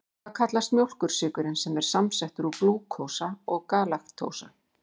Hvað kallast mjólkursykurinn sem er samsettur úr glúkósa galaktósa?